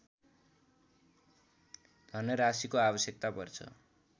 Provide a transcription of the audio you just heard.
धनराशिको आवश्यकता पर्छ